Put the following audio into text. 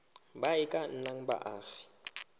ba e ka nnang baagi